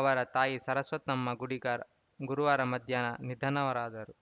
ಅವರ ತಾಯಿ ಸರಸ್ವತಮ್ಮ ಗುಡಿಗಾರ್ ಗುರುವಾರ ಮಧ್ಯಾಹ್ನ ನಿಧನರಾದರು